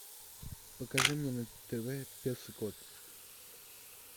покажи мне на тв пес и кот